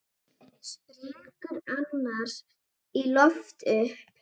Springur annars í loft upp.